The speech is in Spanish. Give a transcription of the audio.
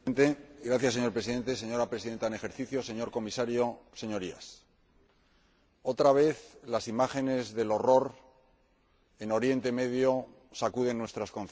Señor Presidente, señora Presidenta en ejercicio del Consejo, señor Comisario, Señorías, otra vez las imágenes del horror en Oriente Próximo sacuden nuestras conciencias.